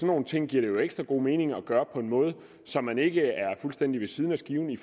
nogle ting giver det jo ekstra god mening at gøre på en måde så man ikke er fuldstændig ved siden af skiven i